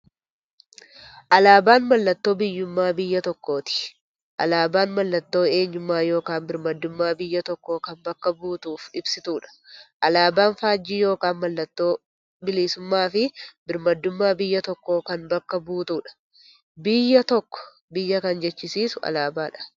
Alaaban mallattoo biyyuummaa biyya tokkooti. Alaabaan mallattoo eenyummaa yookiin birmaadummaa biyya tokkoo kan bakka buutuuf ibsituudha. Alaaban faajjii yookiin maallattoo bilisuummaafi birmaadummaa biyya tokkoo kan bakka buutuudha. Biyya tokko biyya kan jechisisuu alaabadha.